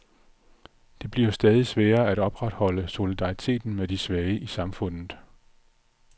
Det bliver stadig sværere at opretholde solidariteten med de svage i samfundet.